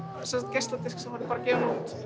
geisladisk sem voru gefin út